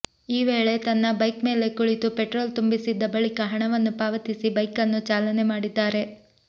ಈ ವೇಳೆ ತನ್ನ ಬೈಕ್ ಮೇಲೆ ಕುಳಿತು ಪೆಟ್ರೋಲ್ ತುಂಬಿಸಿದ್ದ ಬಳಿಕ ಹಣವನ್ನು ಪಾವತಿಸಿ ಬೈಕ್ ಅನ್ನು ಚಾಲನೆ ಮಾಡಿದ್ದಾರೆ